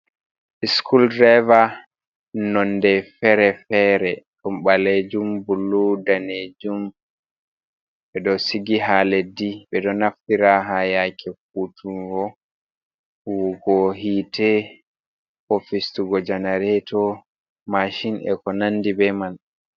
Skuldreva, nonde fere-fere ɗon ɓalejum, blu, danejum. Ɓe ɗo sigi haa leddi ɓe ɗo naftira haa yaake vo'utungo, huwugo hite ko fistugo janareto, mashin e ko nandi be man.